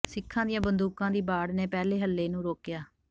ਸਿੱਖਾਂ ਦੀਆਂ ਬੰਦੂਕਾਂ ਦੀ ਬਾੜ ਨੇ ਪਹਿਲੇ ਹੱਲੇ ਨੂੰ ਰੋਕਿਆ